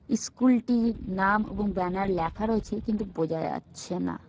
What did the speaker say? ইস্কুলটির নাম এবং ব্যানার লেখা রয়েছে কিন্তু বোঝা যাচ্ছে না।